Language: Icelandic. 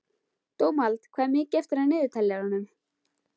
Dómald, hvað er mikið eftir af niðurteljaranum?